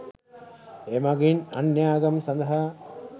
එමගින් අන්‍යාගම් සදහා